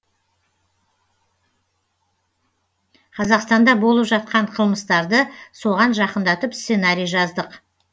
қазақстанда болып жатқан қылмыстарды соған жақындатып сценарий жаздық